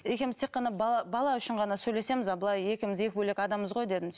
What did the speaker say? екеуміз тек қана бала бала үшін ғана сөйлесеміз а былай екеуміз екі бөлек адамбыз ғой дедім